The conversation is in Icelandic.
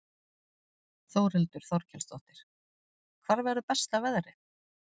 Þórhildur Þorkelsdóttir: Hvar verður besta veðrið?